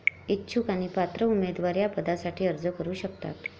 इच्छुक आणि पात्र उमेदवार या पदासाठी अर्ज करु शकतात.